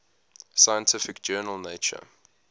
scientific journal nature